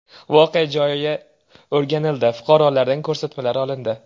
Voqea joyi o‘rganildi, fuqarolardan ko‘rsatmalar olindi.